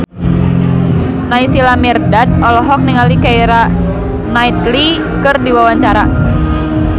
Naysila Mirdad olohok ningali Keira Knightley keur diwawancara